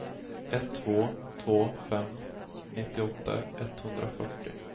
ett två två fem nittioåtta etthundrafyrtio